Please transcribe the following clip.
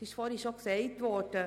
Es ist bereits gesagt worden: